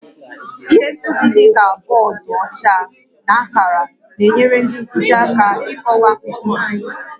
Ihe nkuzi dị ka bọọdụ ọcha na akara na-enyere ndị nkuzi aka ịkọwa nkuzi